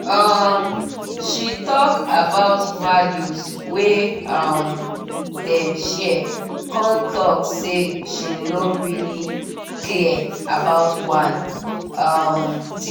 um she talk about values wey um dem share con talk say she no really clear about one um teaching